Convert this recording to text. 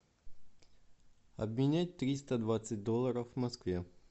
обменять триста двадцать долларов в москве